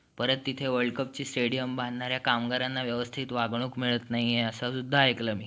त्यांच्या घराण्यात राजकारण असल्यामुळे महाराष्ट्राच्या स्वराज्या~ ची त्यांना आधीपासूनच आस होती. वडिलांकडून त्यांना पुणे आणि सुपील येथील